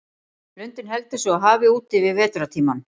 Lundinn heldur sig á hafi úti yfir vetrartímann.